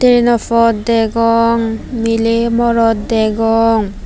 trainw phot degong miley morot degong.